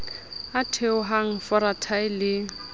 a theohang fora thae le